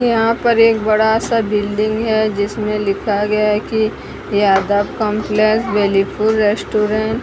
यहां पर एक बड़ा सा बिल्डिंग है जिसमें लिखा गया है कि यादव कंपलेक्स वेलिफुल रेस्टोरेंट --